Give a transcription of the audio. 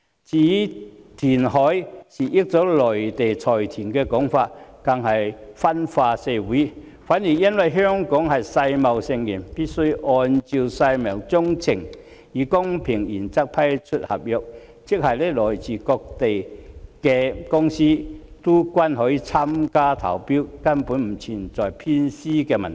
至於填海是要令內地財團得益的說法更是分化社會；相反，由於香港是世界貿易組織成員，必須按照世貿章程，以公平原則批出合約，即來自各地的公司均可參與投標，根本不存在偏私的問題。